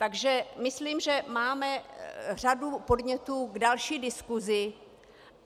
Takže myslím, že máme řadu podnětů k další diskusi.